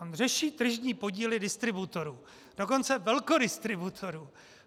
On řeší tržní podíly distributorů, dokonce velkodistributorů.